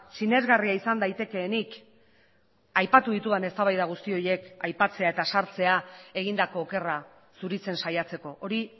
sinesgarria izan daitekeenik aipatu ditudan eztabaida guzti horiek aipatzea eta sartzea egindako okerra zuritzen saiatzeko hori